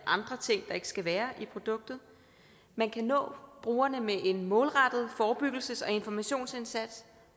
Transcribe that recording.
ikke skal være i produktet man kan nå brugerne med en målrettet forebyggelses og informationsindsats